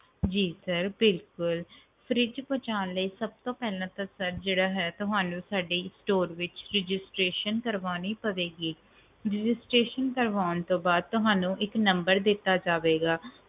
ਜੀ sir ਬਿਲਕੁਲ fridge ਪਹੁੰਚਣ ਲਈ ਸਭ ਤੋਂ ਪਹਿਲਾਂ ਤੁਹਾਨੂੰ ਸਾਡੇ company ਵਿਚ registeration ਕਰਨੀ ਪਵੇਗੀ ਕਰਵਾਉਣ ਤੋਂ ਬਾਅਦ ਤੁਹਾਨੂੰ ਇੱਕ number ਦਿੱਤਾ ਜਾਵੇਗਾ